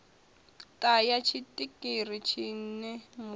ṱa ya tshiṱiriki tshine muwani